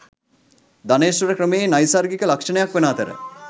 ධනේශ්වර ක්‍රමයේ නෛසර්ගික ලක්ෂණයක් වන අතර